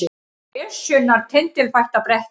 Esjunnar tindilfætta bretti